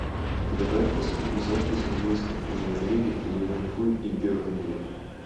давай я посмотрю запись английской премьер лиги ливерпуль и бернли